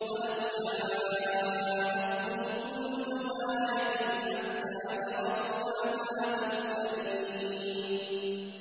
وَلَوْ جَاءَتْهُمْ كُلُّ آيَةٍ حَتَّىٰ يَرَوُا الْعَذَابَ الْأَلِيمَ